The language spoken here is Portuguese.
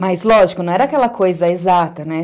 Mas, lógico, não era aquela coisa exata, né?